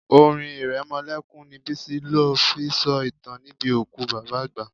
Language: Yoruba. Orin iremolekun ni Bisi lo fi sọ ìtàn níbi òkú bàbá àgbà.